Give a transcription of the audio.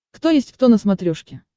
кто есть кто на смотрешке